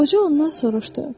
Qoca ondan soruşdu: